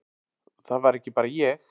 Það var ekki bara ég.